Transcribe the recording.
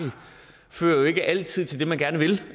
fører jo ikke altid til det man gerne vil